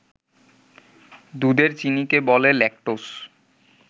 দুধের চিনিকে বলে ল্যাকটোজ